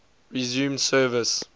resumed service